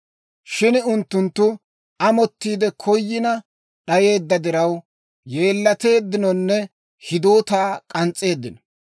Shin unttunttu ammanettiide koyina d'ayeedda diraw, yeellateeddinonne hidootaa k'ans's'eeddino.